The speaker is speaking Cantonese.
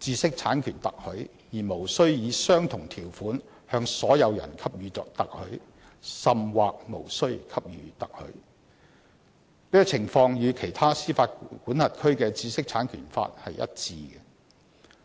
知識產權特許，而無須以相同條款向所有人給予特許，甚或無須給予特許。這情況與其他司法管轄區的知識產權法一致。